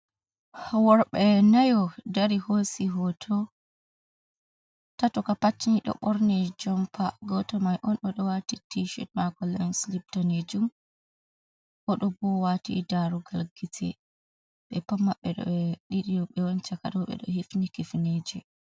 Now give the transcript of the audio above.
Worɓe nayoo dari hosi hoto, tato kam pat ni ɗo ɓorni jompa, goto mai on oɗo waɗi tishet mako, les danejuum oɗo wati darugal gite, ɓe pat maɓɓe ɗiɗi chakado ɓe ɗo hifni kifneeje.